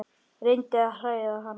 Reyndi að hræða hann.